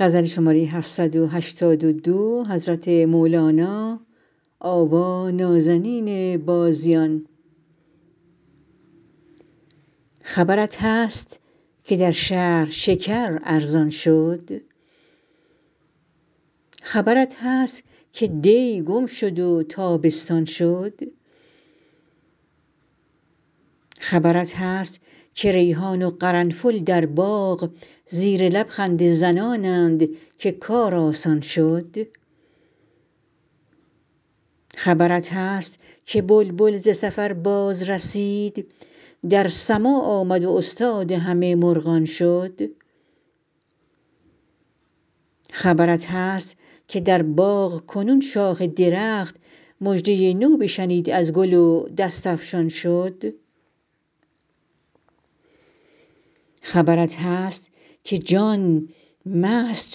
خبرت هست که در شهر شکر ارزان شد خبرت هست که دی گم شد و تابستان شد خبرت هست که ریحان و قرنفل در باغ زیر لب خنده زنانند که کار آسان شد خبرت هست که بلبل ز سفر بازرسید در سماع آمد و استاد همه مرغان شد خبرت هست که در باغ کنون شاخ درخت مژده نو بشنید از گل و دست افشان شد خبرت هست که جان مست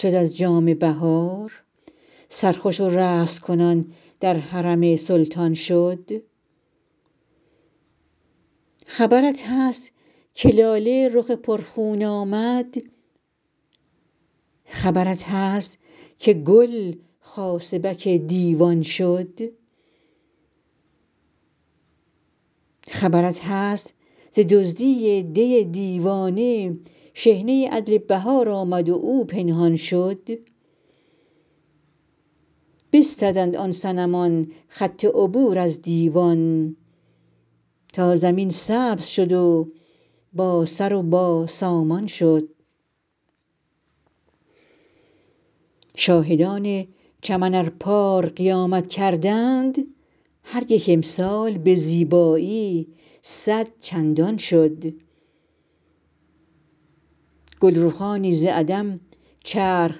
شد از جام بهار سرخوش و رقص کنان در حرم سلطان شد خبرت هست که لاله رخ پرخون آمد خبرت هست که گل خاصبک دیوان شد خبرت هست ز دزدی دی دیوانه شحنه عدل بهار آمد و او پنهان شد بستدند آن صنمان خط عبور از دیوان تا زمین سبز شد و باسر و باسامان شد شاهدان چمن ار پار قیامت کردند هر یک امسال به زیبایی صد چندان شد گلرخانی ز عدم چرخ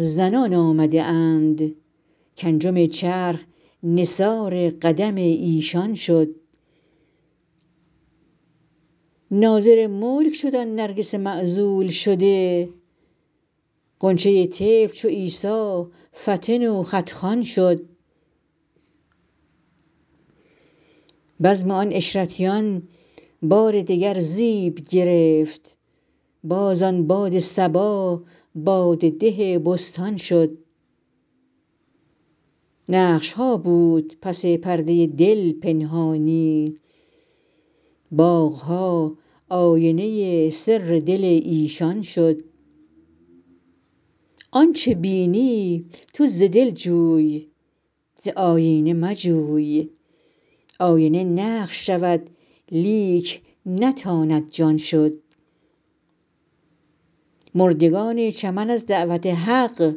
زنان آمده اند کانجم چرخ نثار قدم ایشان شد ناظر ملک شد آن نرگس معزول شده غنچه طفل چو عیسی فطن و خط خوان شد بزم آن عشرتیان بار دگر زیب گرفت باز آن باد صبا باده ده بستان شد نقش ها بود پس پرده دل پنهانی باغ ها آینه سر دل ایشان شد آنچ بینی تو ز دل جوی ز آیینه مجوی آینه نقش شود لیک نتاند جان شد مردگان چمن از دعوت حق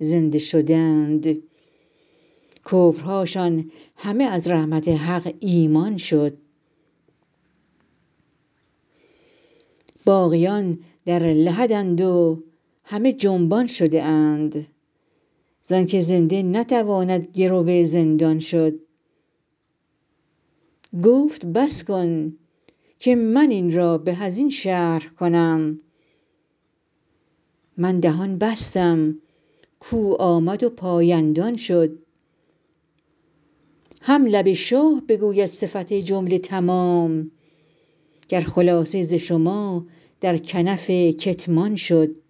زنده شدند کفرهاشان همه از رحمت حق ایمان شد باقیان در لحدند و همه جنبان شده اند زانک زنده نتواند گرو زندان شد گفت بس کن که من این را به از این شرح کنم من دهان بستم کو آمد و پایندان شد هم لب شاه بگوید صفت جمله تمام گر خلاصه ز شما در کنف کتمان شد